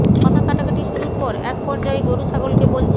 কথা কাটাকাটি শুরুর পর এক পর্যায়ে গরু ছাগলকে বলছে